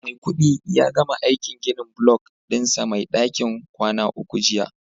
Maikudi ya gama aikin ginin block dinsa Mai dakin kwana uku jiya